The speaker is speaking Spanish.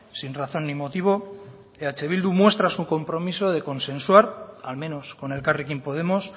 sin razón ni motivo eh bildu muestra su compromiso de consensuar al menos con elkarrekin podemos